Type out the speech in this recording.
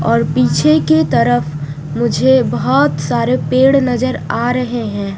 और पीछे के तरफ मुझे बहुत सारे पेड़ नजर आ रहे है।